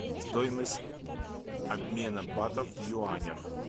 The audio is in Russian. стоимость обмена батов в юанях